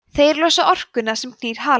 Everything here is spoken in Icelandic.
þeir losa orkuna sem knýr halann